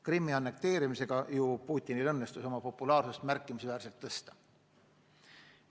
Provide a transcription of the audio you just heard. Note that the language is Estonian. Krimmi annekteerimisega ju Putinil õnnestus oma populaarsust märkimisväärselt tõsta.